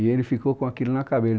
E ele ficou com aquilo na cabeça.